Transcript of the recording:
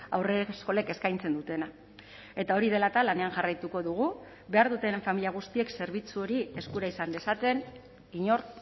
haurreskolek eskaintzen dutena eta hori dela eta lanean jarraituko dugu behar duten familia guztiek zerbitzu hori eskura izan dezaten inor